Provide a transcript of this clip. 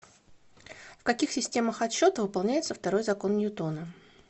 в каких системах отсчета выполняется второй закон ньютона